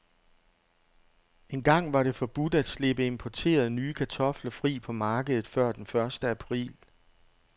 Engang var det forbudt at slippe importerede, nye kartofler fri på markedet før den første april.